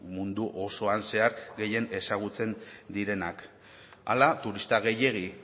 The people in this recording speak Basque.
mundu osoan zehar gehien ezagutzen direnak hala turista gehiegi